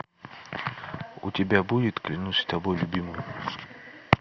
у тебя будет клянусь тобой любимая